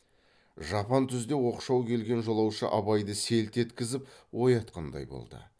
жапан түзде оқшау келген жолаушы абайды селт еткізіп оятқандай болды